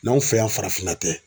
N'anw fɛ yan farafinna tɛ.